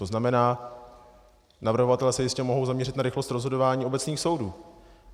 To znamená, navrhovatelé se jistě mohou zaměřit na rychlost rozhodování obecných soudů.